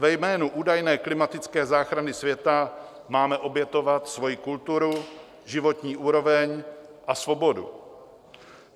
Ve jménu údajné klimatické záchrany světa máme obětovat svoji kulturu, životní úroveň a svobodu.